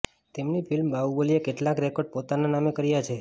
તેમની ફિલ્મ બાહુબલીએ કેટલાક રેકોડ પોતાના નામે કર્યા છે